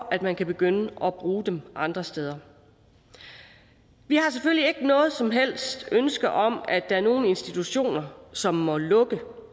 at man kan begynde at bruge dem andre steder vi har selvfølgelig ikke noget som helst ønske om at der er nogle institutioner som må lukke